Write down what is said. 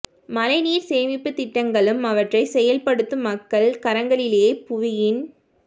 மழைநீர் சேமிப்புத் திட்டங்களும் அவற்றைச் செயல் படுத்தும் மக்கள் கரங்களிலேயே புவியின்